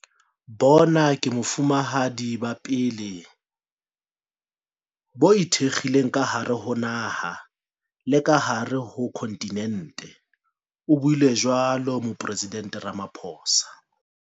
"Bona ke Bofumahadi ba pele bo ikgethileng ka hare ho naha le ka hare ho khonthinente," o buile jwalo Moporesidente Ramaphosa.